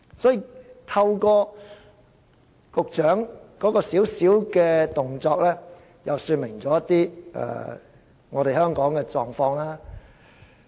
所以，局長的小動作說明了香港的一些狀況。